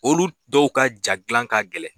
Olu dɔw ka ja dilan ka gɛlɛn